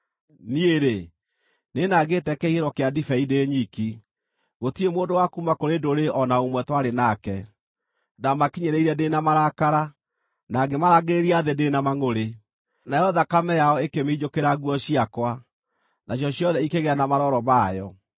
“Niĩ-rĩ, nĩnangĩte kĩhihĩro kĩa ndibei ndĩ nyiki; gũtirĩ mũndũ wa kuuma kũrĩ ndũrĩrĩ o na ũmwe twarĩ nake. Ndamakinyĩrĩirie ndĩ na marakara, na ngĩmarangĩrĩria thĩ ndĩ na mangʼũrĩ; nayo thakame yao ĩkĩminjũkĩra nguo ciakwa, nacio ciothe ikĩgĩa na marooro mayo.